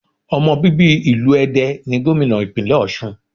Ọmọ bíbí ìlú Ede ni Gómìnà ìpínlẹ̀ Òsun